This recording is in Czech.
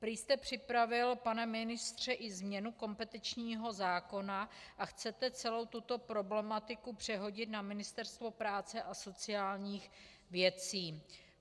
Prý jste připravil, pane ministře, i změnu kompetenčního zákona a chcete celou tuto problematiku přehodit na Ministerstvo práce a sociálních věcí.